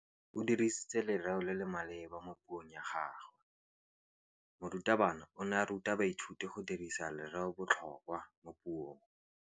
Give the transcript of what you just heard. O dirisitse lerêo le le maleba mo puông ya gagwe. Morutabana o ne a ruta baithuti go dirisa lêrêôbotlhôkwa mo puong.